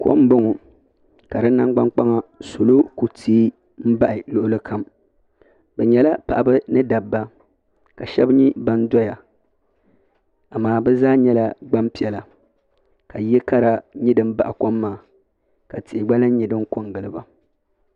kom m-bɔŋɔ ka di nangbuni kpaŋa salo kuli teei m-bahi luɣili kam bɛ nyɛla paɣaba ni dabba ka shɛba nyɛ ban doya amaa bɛ zaa nyɛla gbaŋ' piɛla ka yili kara nyɛ din baɣi kom maa ka tihi gba lan nyɛ din kɔ n-gili ba.